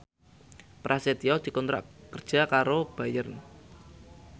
Prasetyo dikontrak kerja karo Bayer